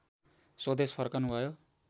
स्वदेश फर्कनुभयो